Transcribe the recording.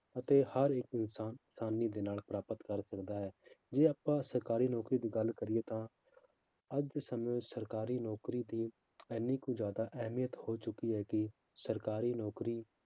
ਅਤੇ ਹਰ ਇੱਕ ਇਨਸਾਨ ਆਸਾਨੀ ਦੇ ਨਾਲ ਪ੍ਰਾਪਤ ਕਰ ਸਕਦਾ ਹੈ ਜੇ ਆਪਾਂ ਸਰਕਾਰੀ ਨੌਕਰੀ ਦੀ ਗੱਲ ਕਰੀਏ ਤਾਂ, ਅੱਜ ਦੇ ਸਮੇਂ ਵਿੱਚ ਸਰਕਾਰੀ ਨੌਕਰੀ ਦੀ ਇੰਨੀ ਕੁ ਜ਼ਿਆਦਾ ਅਹਿਮੀਅਤ ਹੋ ਚੁੱਕੀ ਹੈ ਕਿ ਸਰਕਾਰੀ ਨੌਕਰੀ